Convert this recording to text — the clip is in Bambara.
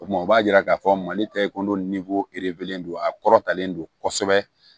O tuma o b'a yira k'a fɔ mali tɛ e kun don a kɔrɔtalen don kosɛbɛ